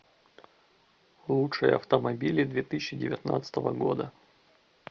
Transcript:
лучшие автомобили две тысячи девятнадцатого года